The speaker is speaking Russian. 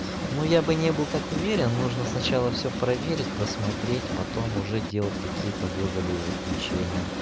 ну я бы не был так уверен нужно сначала всё проверить посмотреть потом уже делать какие-то выводы и заключение